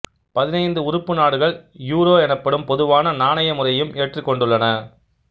பதினைந்து உறுப்பு நாடுகள் யூரோ எனப்படும் பொதுவான நாணய முறையையும் ஏற்றுக்கொண்டுள்ளன